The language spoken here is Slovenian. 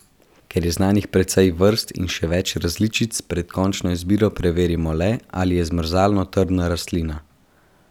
Ker je znanih precej vrst in še več različic, pred končno izbiro preverimo le, ali je zmrzalno trdna rastlina.